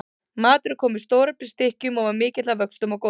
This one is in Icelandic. Maturinn kom í stóreflis stykkjum og var mikill að vöxtum og góður.